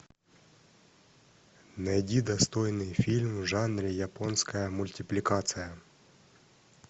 найди достойный фильм в жанре японская мультипликация